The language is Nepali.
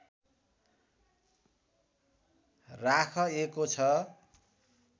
राखएको छ